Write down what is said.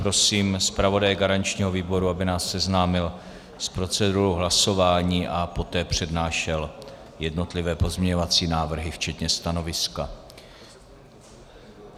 Prosím zpravodaje garančního výboru, aby nás seznámil s procedurou hlasování a poté přednášel jednotlivé pozměňovací návrhy včetně stanoviska.